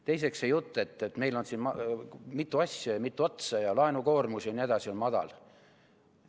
Teiseks, see jutt, et meil on siin mitu asja ja mitu otsa ja laenukoormus on madal jne.